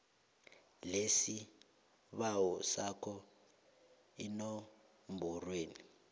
lesibawo sakho enomborweni